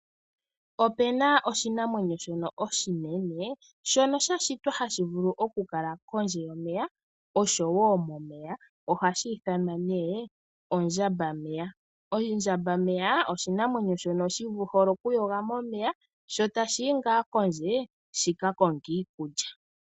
Opu na oshinamwenyo shono oshinene shono sha shitwa hashi vulu okukala kondje yomeya oshowo momeya ohashi ithanwa nee ondjambameya. Ondjambameya oshinamwenyo shi hole okuyoga momeya sho tashi yi ngaa kondje shi ka konge iikulya.